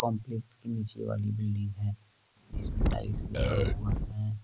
Complex के निचे वाली बिल्डिंग में जिसमे टाइल्स लगा हुआ है।